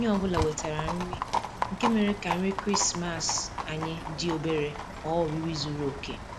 Onye ọ bụla wetara nri, nke mere ka nri krismas anyị dị obere ghọọ oriri zuru oke